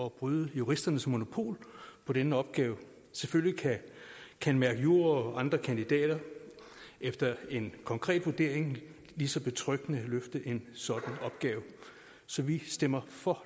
at bryde juristernes monopol på denne opgave selvfølgelig kan candmercjur og andre kandidater efter en konkret vurdering lige så betryggende løfte en sådan opgave så vi stemmer for